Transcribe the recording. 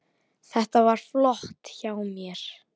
Þetta var flott hjá mér.